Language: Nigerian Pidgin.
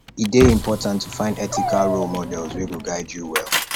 e dey important to find ethical role models wey go guide you well